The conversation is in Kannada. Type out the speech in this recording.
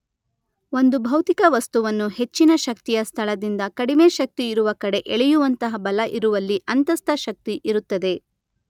ಒಂದು ಭೌತಿಕ ವಸ್ತುವನ್ನು ಹೆಚ್ಚಿನ ಶಕ್ತಿಯ ಸ್ಥಳದಿಂದ ಕಡಿಮೆ ಶಕ್ತಿ ಇರುವ ಕಡೆ ಎಳೆಯುವಂತಹ ಬಲ ಇರುವಲ್ಲಿ ಅಂತಸ್ಥ ಶಕ್ತಿ ಇರುತ್ತದೆ.